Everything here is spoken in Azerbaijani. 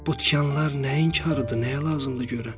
Bu tikanlar nəyin xarıdır, nəyə lazımdır görən?